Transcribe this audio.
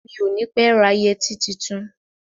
Mi ò ní pé ra yẹtí tuntun.